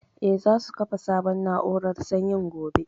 Eh, za su kafa sabon na'urar sanyin gobe